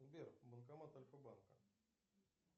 сбер банкомат альфа банка